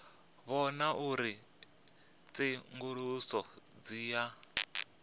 vhona uri tsenguluso dzi a